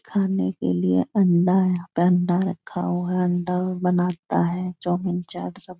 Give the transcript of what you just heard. खाने के लिए अंडा है यहां पर अंडा रखा हुआ है अंडा बनाता है चाउमीन चाट सब --